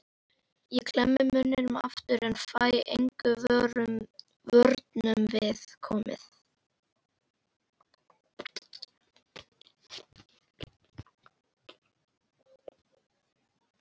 Ég klemmi munninn aftur en fæ engum vörnum við komið.